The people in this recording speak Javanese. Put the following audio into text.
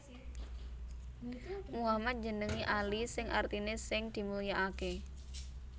Muhammad njenengi Ali sing artiné sing dimulyakaké